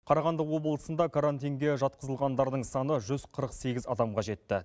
қарағанды облысында карантинге жатқызылғандардың саны жүз қырық сегіз адамға жетті